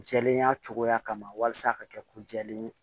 Jɛlenya cogoya kama walasa a ka kɛ ko jɛlen ye